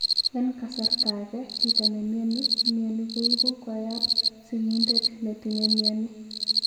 En kasarta age chito ne mioni mioni koipu koyap sigindet netinye mioni.